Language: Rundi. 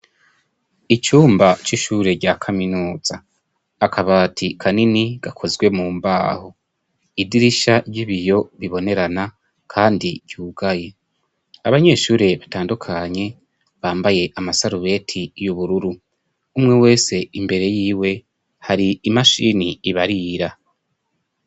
icyumba c'ishure rya kaminuza akabati kanini gakozwe mu mbaho idirisha ry'ibiyo bibonerana kandi ryugaye abanyeshure batandukanye bambaye amasarubeti y'ubururu umwe wese imbere y'iwe hari imashini ibarira